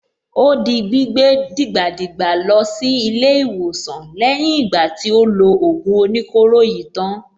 Ó di gbígbé dìgbàdìgbà lọ sí ilé-ìwòsàn lẹ́yìn ìgbà tí ó lo ògùn oníkóro yìí tán.